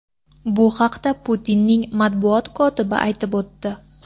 Bu haqda Putinning matbuot kotibi aytib o‘tdi.